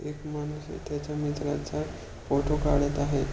एक माणूस त्याच्या मित्राचा फोटो काढत आहे.